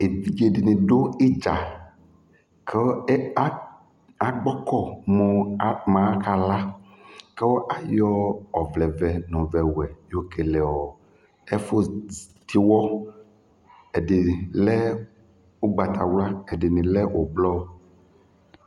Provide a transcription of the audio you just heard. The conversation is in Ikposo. Evidze dɩnɩ dʋ ɩdza kʋ e a akpɔkɔ mʋ akala Kʋ ayɔ ɔvlɛvɛ nʋ ɔvlɛwɛ yɔkele ɔ ɛfʋ z tɩɣɔ Ɛdɩ lɛ ʋgbatawla, ɛdɩnɩ lɛ ʋblɔ